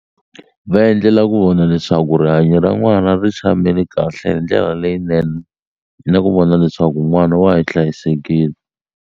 Va endlela ku vona leswaku rihanyo ra n'wana ri tshamile kahle hi ndlela leyinene na ku vona leswaku n'wana wa ha hlayisekile.